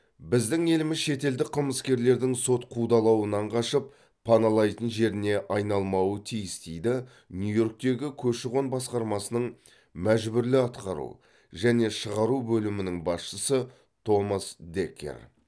біздің еліміз шетелдік қылмыскерлердің сот қудалауынан қашып паналайтын жеріне айналмауы тиіс дейді нью йорктегі көші қон басқармасының мәжбүрлі атқару және шығару бөлімінің басшысы томас декер